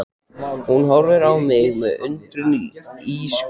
Hún horfir á mig með undrun í ísköld